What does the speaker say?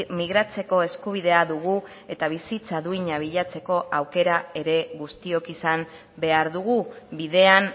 migratzeko eskubidea dugu eta bizitza duina bilatzeko aukera ere guztiok izan behar dugu bidean